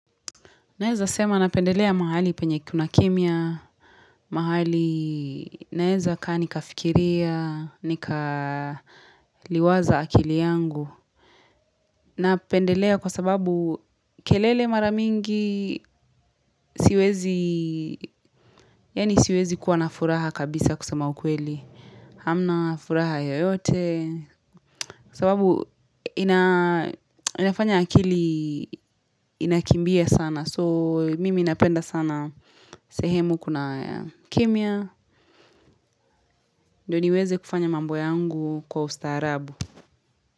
Naeza sema na pendelea mahali penye kuna kimya, mahali naeza kani nikafikiria, nika liwaza akili yangu. Na pendelea kwa sababu kelele maramingi siwezi, yani siwezi kuwa na furaha kabisa kusema ukweli. Hamna furaha yo yote sababu inafanya akili Inakimbia sana So mimi inapenda sana sehemu kuna kimya, ndoniweze kufanya Mamboyangu kwa ustaharabu.